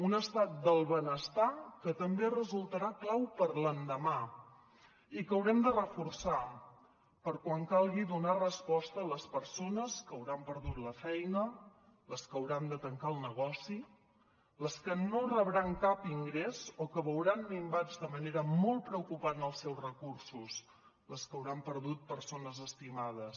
un estat del benestar que també resultarà clau per a l’endemà i que haurem de reforçar per quan calgui donar resposta a les persones que hauran perdut la feina les que hauran de tancar el negoci les que no rebran cap ingrés o que veuran minvats de manera molt preocupant els seus recursos les que hauran perdut persones estimades